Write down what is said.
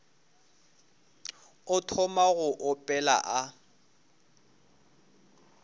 a thoma go opela a